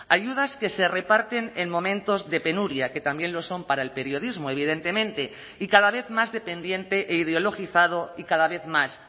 ayudas que se reparten en momentos de penuria que también lo son para el periodismo evidentemente y cada vez más dependiente e ideologizado y cada vez más